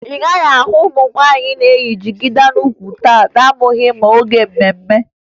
Ị gaghị ahụ ụmụ nwaanyị na-eyi jigida n'ukwu taa na-abụghị n'oge mme mme